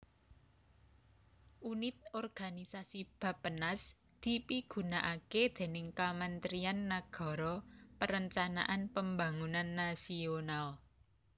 Unit organisasi Bappenas dipigunakaké déning Kamentrian Nagara Perencanaan Pembangunan Nasional